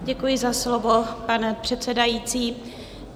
Děkuji za slovo, pane předsedající.